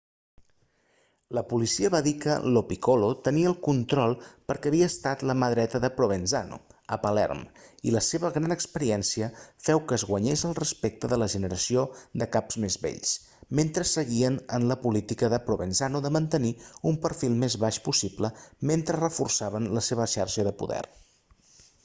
la policia va dir que lo piccolo tenia el control perquè havia estat la mà dreta de provenzano a palerm i la seva gran experiència feu que es guanyés el respecte de la generació de caps més vells mentre seguien la política de provenzano de mantenir un perfil el més baix possible mentre reforçaven la seva xarxa de poder